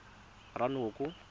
ranoko